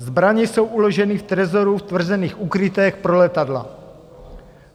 Zbraně jsou uloženy v trezoru v tvrzených úkrytech pro letadla.